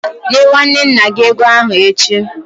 Nye nwanne nna gị ego ahụ echi!